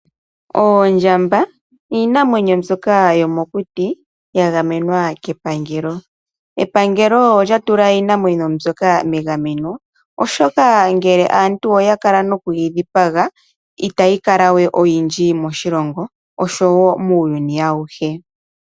Oondjamba iinamwenyo mbyoka yomokuti ya gamenwa kepangelo. Epangelo olya tula iinamwenyo mbyoka megameno, oshoka ngele aantu oya kala noku yi dhipaga itayi kala we oyindji moshilongo oshowo muuyuni awuhe.